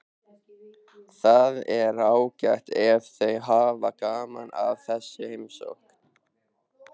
Það er ágætt ef þau hafa gaman af þessari heimsókn.